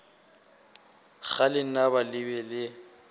ge lenaba le be le